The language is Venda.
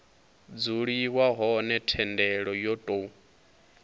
dzuliwa hone thendelo yo tou